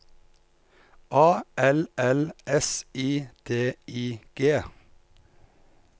A L L S I D I G